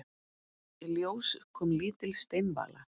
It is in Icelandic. Í ljós kom lítil steinvala.